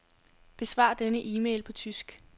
Besvar denne e-mail på tysk.